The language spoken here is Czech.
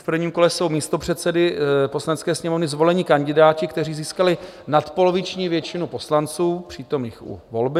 V prvním kole jsou místopředsedy Poslanecké sněmovny zvoleni kandidáti, kteří získali nadpoloviční většinu poslanců přítomných u volby.